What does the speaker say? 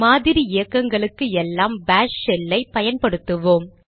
மாதிரி இயக்கங்களுக்கு எல்லாம் பாஷ் ஷெல்லை பயன்படுத்துவோம்